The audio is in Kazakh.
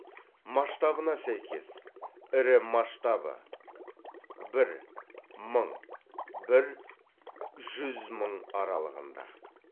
масштабына сәйкес ірі масштабты бір мың бір жүз мың аралығында